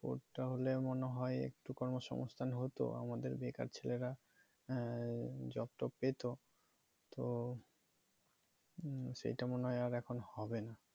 পড টা হলে মনে হয়ে একটু কর্ম সঙ্গস্থান হতো আমাদের বেকার ছেলেরা হ্যাঁ job টব পেতো তো সেইটা মনে হয়ে আর এখন হবে না